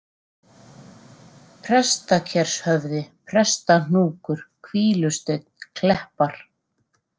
Prestakershöfði, Prestahnúkur, Hvílusteinn, Kleppar